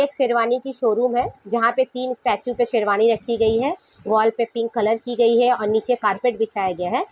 एक शेरवानी की शोरूम हैं जहाँ पर तीन स्टेचू पर शेरवानी रखी गई है वॉल पर पिंक कलर की गयी है और नीचे कार्पेट बिछाया गया है।